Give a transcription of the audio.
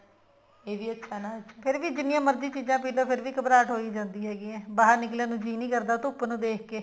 ਇਹ ਵੀ ਅੱਛਾ ਨਾ ਫੇਰ ਵੀ ਜਿੰਨੀ ਮਰਜ਼ੀ ਚੀਜ਼ਾਂ ਪੀਲੋ ਫੇਰ ਵੀ ਘਬਰਾਹਟ ਹੋਈ ਜਾਂਦੀ ਹੈਗੀ ਹੈ ਬਾਹਰ ਨਿਕਲਣ ਨੂੰ ਜੀ ਨੀ ਕਰਦਾ ਧੁੱਪ ਨੂੰ ਦੇਖ ਕੇ